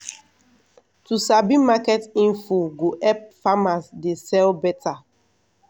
to sabi market info go help farmers dey sell beta